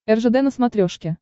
ржд на смотрешке